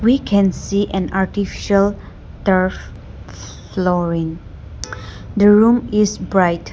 we can see an artificial turf flooring the room is bright.